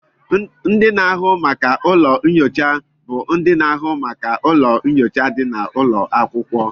Ndị na-ahụ maka ụlọ nyocha bụ ndị na-ahụ maka ụlọ nyocha dị n'ụlọ akwụkwọ